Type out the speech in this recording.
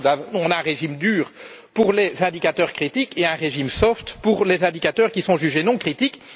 Vous l'avez vu, on a un régime dur pour les indicateurs critiques et un régime assoupli pour les indicateurs qui sont jugés non critiques.